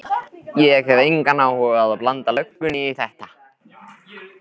Ég hef engan áhuga á að blanda löggunni í þetta.